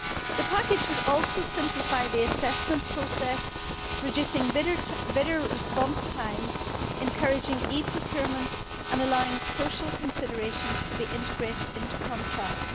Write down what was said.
The package would also simplify the assessment process, reducing bidder response times, encouraging e procurement and allowing social considerations to be integrated into contracts.